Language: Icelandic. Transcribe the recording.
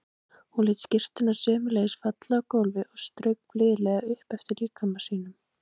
Hún lét skyrtuna sömuleiðis falla á gólfið og strauk blíðlega upp eftir líkama sínum.